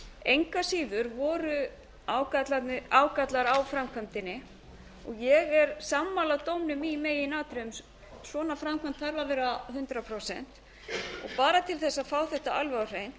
engu að síður voru ágallar á framkvæmdinni og ég er sammála dómnum í meginatriðum svona framkvæmd þarf að vera hundrað prósent og bara til að fá þetta alveg á hreint